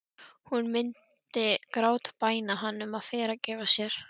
Hún myndi grátbæna hann um að fyrirgefa sér.